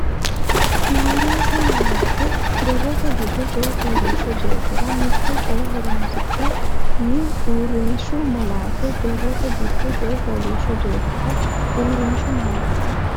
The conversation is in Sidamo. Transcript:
Uurrishshu malaate borrote giddo Coy fooliishsho jeefora mitte coy horoonsi nanni Uurrishshu malaate borrote giddo Coy fooliishsho jeefora Uurrishshu malaate.